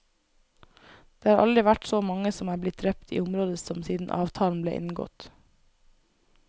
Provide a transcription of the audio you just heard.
Det har aldri vært så mange som er blitt drept i området som siden avtalen ble inngått.